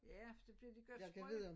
Ja for det bliver det gør det sprøde